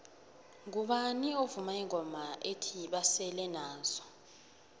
mgubani ovuma ingoma ethi basele nazo